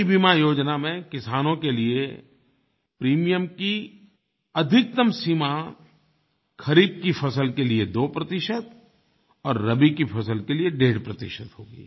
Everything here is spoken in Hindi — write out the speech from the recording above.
नयी बीमा योजना में किसानों के लिये प्रीमियम की अधिकतम सीमा खरीफ़ की फ़सल के लिये दो प्रतिशत और रबी की फ़सल के लिए डेढ़ प्रतिशत होगी